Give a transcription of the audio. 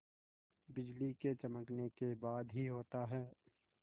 बिजली के चमकने के बाद ही होता है